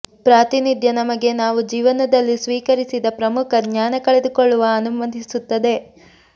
ಪ್ರಾತಿನಿಧ್ಯ ನಮಗೆ ನಾವು ಜೀವನದಲ್ಲಿ ಸ್ವೀಕರಿಸಿದ ಪ್ರಮುಖ ಜ್ಞಾನ ಕಳೆದುಕೊಳ್ಳುವ ಅನುಮತಿಸುತ್ತದೆ